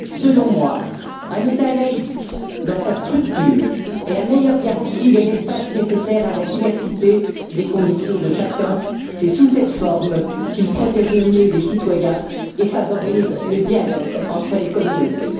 Selon moi, un État laïc, dans sa structure, est la meilleure garantie de l'espace nécessaire à la diversité des convictions de chacun. C'est sous cette forme qu'il protège le mieux les citoyens et favorise le dialogue entre les communautés.